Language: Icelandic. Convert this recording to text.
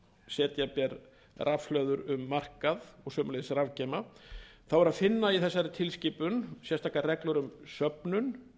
setja ber rafhlöður um markað og sömuleiðis rafgeyma er að finna í þessari tilskipun sérstakar reglur um söfnun